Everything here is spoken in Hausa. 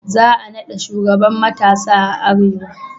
Za a naɗa shugaban matasa a arewa